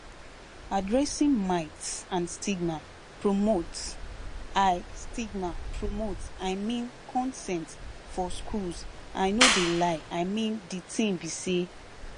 addressing myths and stigma promotes i stigma promotes i mean consent for schools i no de lie i mean de tin be say